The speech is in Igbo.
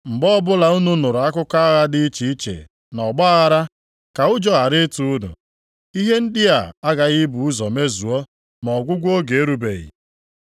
Mgbe ọbụla unu nụrụ akụkọ agha dị iche iche na ọgbaaghara, ka ụjọ ghara ịtụ unu, ihe ndị a aghaghị ibu ụzọ mezuo, ma ọgwụgwụ oge erubeghị.”